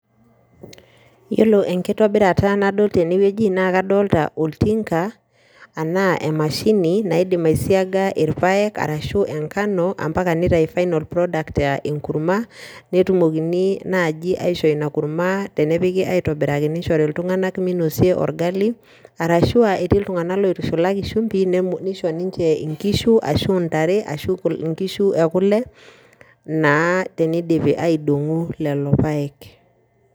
Iyiolo enkitobirata nadol tene wueji naa kadolta olting'a enaa emashini naidim aisiaga irpaek arashu enkano mpaka nitayu final product aa enkurma, netumokini naaji aishoo ina kurma tenepiki aitobiraki nishori iltung'anak minosie orgali, arashu aa etii iltung'anak loitushulaki shumbi nemo nisho ninje inkishu, ashu ntare ashu nkishu e kule naa tenidipi aidong'u lelo paek.